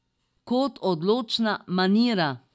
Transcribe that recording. Kot odločna manira.